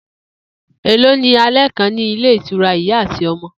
Èló ní alé̩ kan ní ilé ìtura Ìyá àti O̩mo̩?